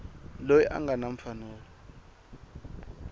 loyi a nga na mfanelo